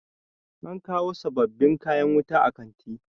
an kawo sababbin kayan wuta a kanti